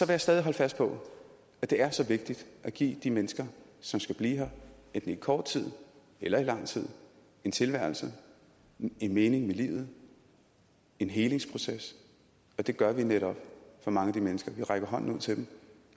jeg stadig holde fast på at det er så vigtigt at give de mennesker som skal blive her enten i kort tid eller i lang tid en tilværelse en mening med livet en helingsproces og det gør vi netop for mange af de mennesker vi rækker hånden ud til dem